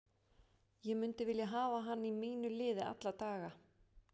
Ég myndi vilja hafa hann í mínu liði alla daga.